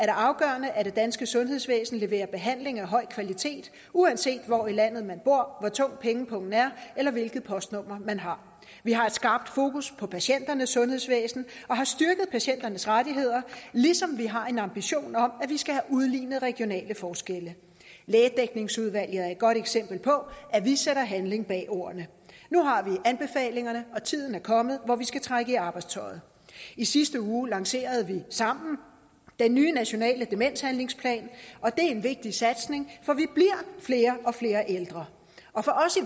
afgørende at det danske sundhedsvæsen leverer behandling af høj kvalitet uanset hvor i landet man bor hvor tung pengepungen er eller hvilket postnummer man har vi har skabt fokus på patienternes sundhedsvæsen og har styrket patienternes rettigheder ligesom vi har en ambition om at vi skal have udlignet regionale forskelle lægedækningsudvalget er et godt eksempel på at vi sætter handling bag ordene nu har vi anbefalingerne og tiden er kommet hvor vi skal trække i arbejdstøjet i sidste uge lancerede vi sammen den nye nationale demenshandlingsplan og det er en vigtig satsning for vi bliver flere og flere ældre og for os